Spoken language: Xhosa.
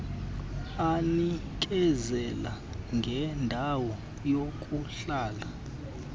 anikezela ngendawo yokuhlala